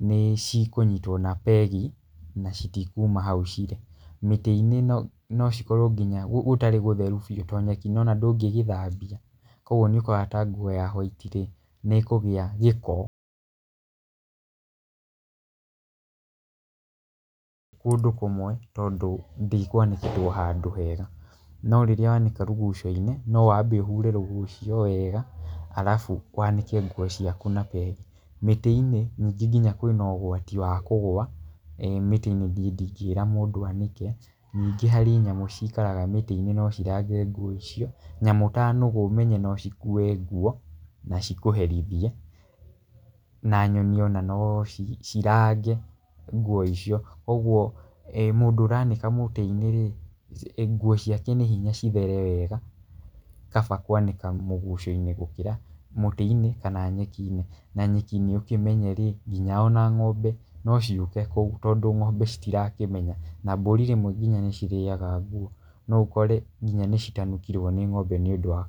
nĩcikũnyitwo na pegi na citikuma hau cirĩ. Mĩtĩ-inĩ no nocikorwo nginya gũ gũtarĩ gũtheru fiũ to nyeki nĩwona ndũngĩgĩthabia kũguo nĩukoraga na nguo ya white -rĩ nĩikũgĩa gĩko kũndũ kũmwe tondũ ndĩkwanĩkĩtwo handũ hega, no rĩrĩa nĩka rũgucio-inĩ nĩwabe ũhure rũgucio weega alafu waanĩke nguo ciaku na pege. Mĩtĩ-inĩ ningĩ nginya kwĩna ũgwati wa kũgwa eeh mĩtĩ-inĩ niĩ ndigĩra mũndũ anĩke ningĩ harĩ nyamũ ciikaraga mĩtĩ-inĩ nocirage nguo icio nyamũ ta nũgũ ũmenye no cikue nguo nacikũherithie na nyoni ona no ci cirage nguo icio kũgwo mũndũ ũranĩka mũtĩinĩ-ri nguo ciake nĩ hinya cithere wega kaba kwanĩka mũgucionĩ gũkĩra mũtĩ-inĩ kana nyeki-inĩ na nyeki-inĩ ũkĩmenye-rĩ nginya ona ng'ombe nociũke kũu tondũ ng'ombe citirakĩmenya na mbũri rĩmwe nginya nĩcirĩaga nguo noũkore nginya nĩcitanukirwo ni ng'ombe nĩũndu wa.